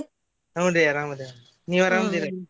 ಹುನ್ರೀ ಅರಾಮ್ ಅದೇವ್ ನೀವ್ ಅರಾಮ್ ಅದಿನೇನ್ರೀ?